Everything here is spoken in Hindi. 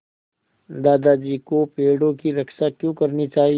दादाजी को पेड़ों की रक्षा क्यों करनी चाहिए